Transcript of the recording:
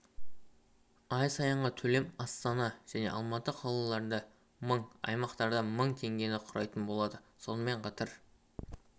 ай сайынғы төлем астана және алматы қалаларында мың аймақтарда мың теңгені құрайтын болады сонымен қатар